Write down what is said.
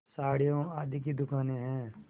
साड़ियों आदि की दुकानें हैं